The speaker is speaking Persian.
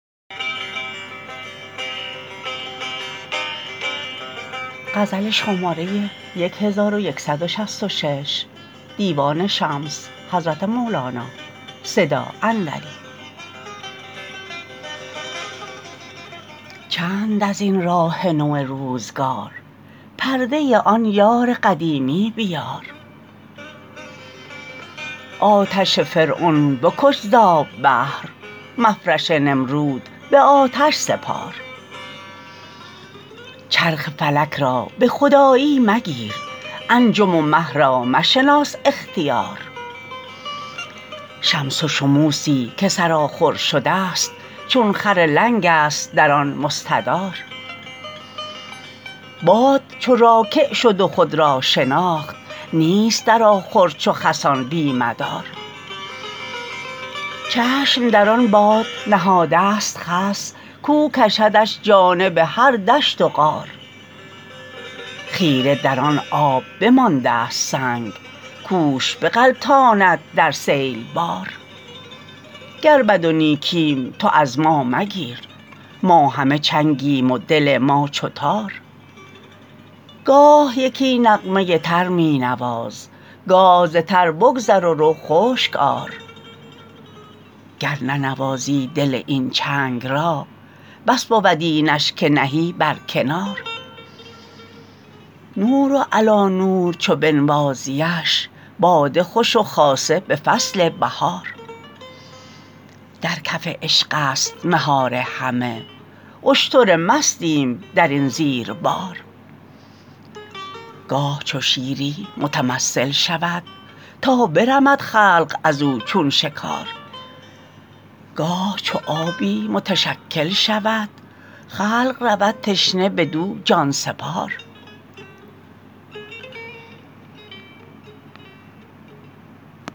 چند از این راه نو روزگار پرده آن یار قدیمی بیار آتش فرعون بکش ز آب بحر مفرش نمرود به آتش سپار چرخ فلک را به خدایی مگیر انجم و مه را مشناس اختیار شمس و شموسی که سرآخر شده ست چون خر لنگست در آن مستدار باد چو راکع شد و خود را شناخت نیست در آخر چو خسان بی مدار چشم در آن باد نهاده ست خس کاو کشدش جانب هر دشت و غار خیره در آن آب بمانده ست سنگ کوش بغلطاند در سیل بار گر بد و نیکیم تو از ما مگیر ما همه چنگیم و دل ما چو تار گاه یکی نغمه ی تر می نواز گاه ز تر بگذر و رو خشک آر گر ننوازی دل این چنگ را بس بود اینش که نهی برکنار نور علی نور چو بنوازیش باده خوش و خاصه به فصل بهار در کف عشقست مهار همه اشتر مستیم در این زیر بار گاه چو شیری متمثل شود تا برمد خلق از او چون شکار گاه چو آبی متشکل شود خلق رود تشنه بدو جان سپار